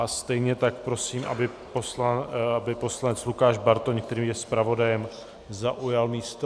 A stejně tak prosím, aby poslanec Lukáš Bartoň, který je zpravodajem, zaujal místo.